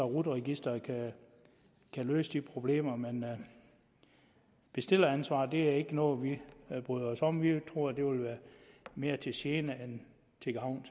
rut registeret kan løse de problemer men bestilleransvar er ikke noget vi bryder os om vi tror at det vil være mere til gene end til gavn